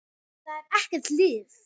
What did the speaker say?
Það er ekkert líf.